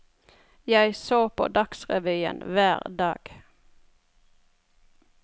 Jeg så på dagsrevyen hver dag.